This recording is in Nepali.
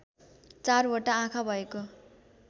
चारवटा आँखा भएको